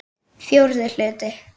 Fjórði hluti